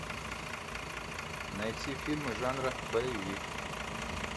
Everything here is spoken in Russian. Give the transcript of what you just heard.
найти фильмы жанра боевик